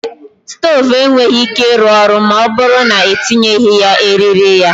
Stove enweghi ike ịrụ ọrụ ma ọ bụrụ na-etinyeghi ya eriri ya